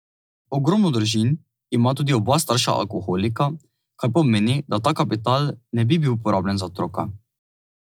Ogromno družin ima tudi oba starša alkoholika, kar pomeni, da ta kapital ne bi bil porabljen za otroka.